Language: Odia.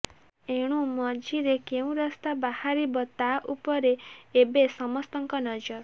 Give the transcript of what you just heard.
ଏଣୁ ମଝିରେ କେଉଁ ରାସ୍ତା ବାହାରିବ ତା ଉପରେ ଏବେ ସମସ୍ତଙ୍କ ନଜର